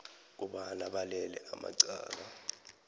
kobana balele amacala